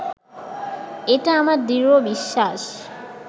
এটা আমার দৃঢ় বিশ্বাস